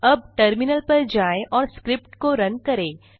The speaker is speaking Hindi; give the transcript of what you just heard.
अब टर्मिनल पर जाएँ और स्क्रिप्ट को रुन करें